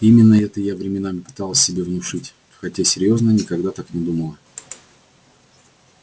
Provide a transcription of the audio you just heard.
именно это я временами пыталась себе внушить хотя серьёзно никогда так не думала